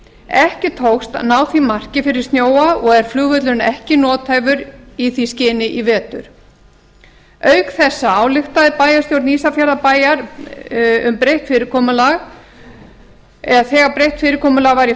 ekki tókst að ná því marki fyrir snjóa og er flugvöllurinn ekki nothæfur í því skyni auk þessa ályktaði bæjarstjórn ísafjarðarbæjar þegar breytt fyrirkomulag var í